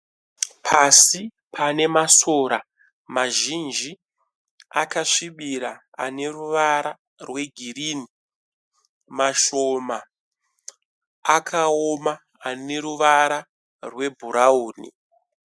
Pasi pane masora mazhinji akasvibira ane ruvara rwe girini . Mashoma akaoma ane ruvara rwe bhurauni.